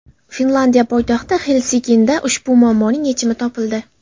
Finlyandiya poytaxti Xelsinkida ushbu muammoning yechimi topildi.